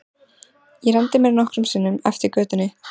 Ég renndi mér nokkrum sinnum eftir götunni.